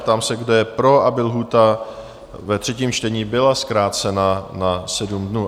Ptám se, kdo je pro, aby lhůta ve třetím čtení byla zkrácena na 7 dnů?